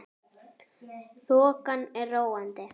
Þokan er róandi